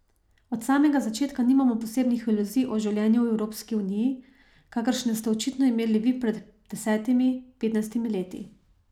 Od samega začetka nimamo posebnih iluzij o življenju v Evropski uniji, kakršne ste očitno imeli vi pred desetimi, petnajstimi leti.